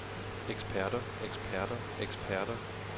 eksperter eksperter eksperter